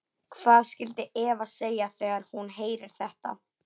Hvað skyldi Eva segja þegar hún heyrir þetta?